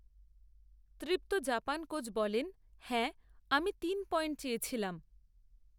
তৃপ্ত Japan coach, বলেন, হ্যাঁ, আমি তিন পয়েন্ট চেয়েছিলাম